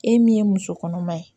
E min ye muso kɔnɔma ye